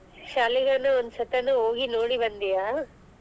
ಶಾಲಿಗೂನು ಒಂದ್ ಸತಿನು ಹೋಗಿ ನೋಡಿ ಬಂದಿಯಾ.